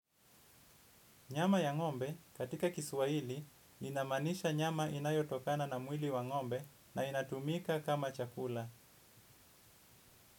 Nyama ya ngombe katika kiswahili inamaanisha nyama inayotokana na mwili wa ngombe na inatumika kama chakula.